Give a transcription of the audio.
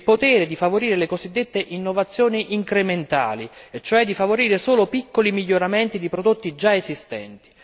il potere di favorire le cosiddette innovazioni incrementali e cioè di favorire solo piccoli miglioramenti di prodotti già esistenti.